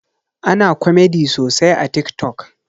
Ana komedi sosai a tik tok